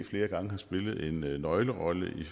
flere gange har spillet en nøglerolle i